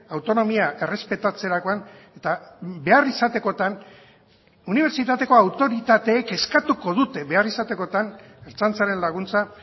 autonomia errespetatzerakoan eta behar izatekotan unibertsitateko autoritateek eskatuko dute behar izatekotan ertzaintzaren laguntza